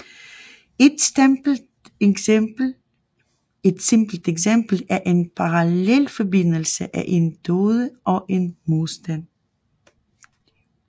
Et simpelt eksempel er en parallelforbindelse af en diode og en modstand